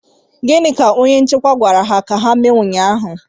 Gịnị ka onye nchịkwa gwara ha ka ha mee ụnyaahụ?